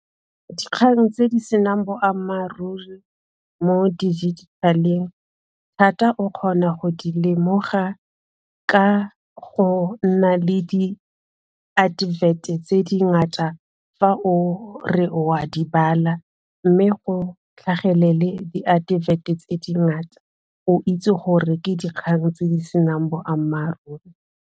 Dikgang tse di senang boammaaruri mo di-digital-eng thata o kgona go di lemoga ka go nna le di-advert-e tse di ngata fa o re wa di bala mme go tlhagelele di-advert-e tse di ngata o itse gore ke dikgang tse di senang boammaaruri.